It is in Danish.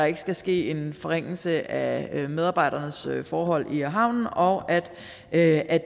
ikke skal ske en forringelse af medarbejdernes forhold i havnen og at